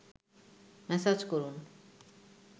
massage করুন